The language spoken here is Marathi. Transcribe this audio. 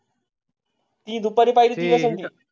ती दुपारी पाहिजे आहे.